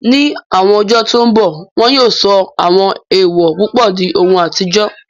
Ní àwọn ọjọ́ tó n bọ̀, wọn yóò sọ àwọn èèwò púpọ̀ di ohun àtijọ́